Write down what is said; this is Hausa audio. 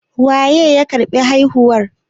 Waye ya karɓi haihuwar?